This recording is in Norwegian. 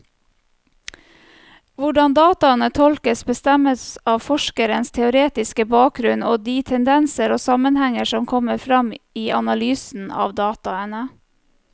Hvordan dataene tolkes, bestemmes av forskerens teoretiske bakgrunnen og de tendenser og sammenhenger som kommer frem i analysen av dataene.